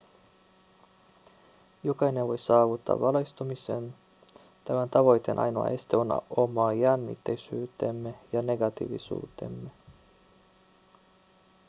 jokainen voi saavuttaa valaistumisen tämän tavoitteen ainoa este on oma jännittyneisyytemme ja negatiivisuutemme